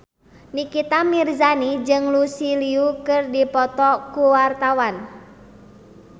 Nikita Mirzani jeung Lucy Liu keur dipoto ku wartawan